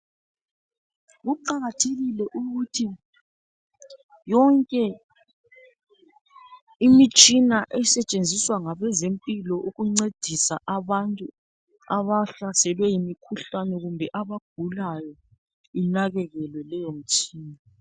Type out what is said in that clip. Kuqakathekile ukuthi yonke imitshina esetshenziswa ngabe zempilo ukuncedisa abantu abahlaselwe yimikhuhlane kumbe abagulayo inakekelwe leyo mitshina.